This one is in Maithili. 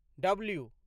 डब्लू